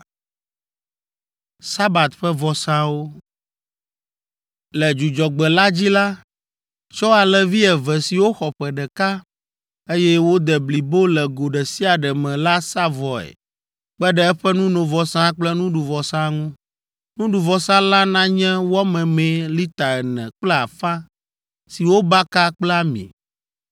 “Le Dzudzɔgbe la dzi la, tsɔ alẽvi eve siwo xɔ ƒe ɖeka, eye wode blibo le go ɖe sia ɖe me la sa vɔe kpe ɖe eƒe nunovɔsa kple nuɖuvɔsa ŋu. Nuɖuvɔsa la nanye wɔ memee lita ene kple afã si wobaka kple ami.